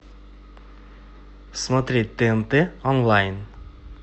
смотреть тнт онлайн